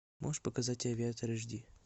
можешь показать авиатор аш ди